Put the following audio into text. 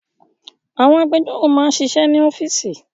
Àwọn agbẹjọ́rò máa ń ṣiṣẹ́ ní ọ́fíísì